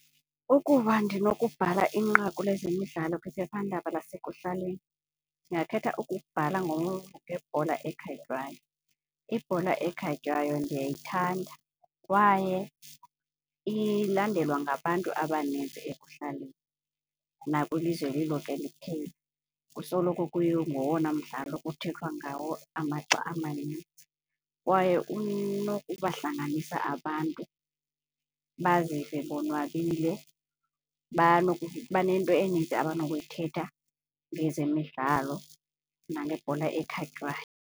Ukuba ndinokubhala inqaku lezemidlalo kwiphephandaba lasekuhlaleni ndingakhetha ukubhala ngebhola ekhatywayo. Ibhola ekhatywayo ndiyayithanda kwaye ilandelwe ngabantu abanintsi ekuhlaleni nakwilizwe lilonke liphela. Kusoloko kungowona mdlalo kuthethwa ngawo amaxa amanintsi kwaye unokubahlanganisa abantu bazive bonwabile banento enintsi abanokuyithetha ngezemidlalo nangebhola ekhatywayo.